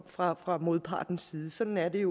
fra fra modpartens side sådan er det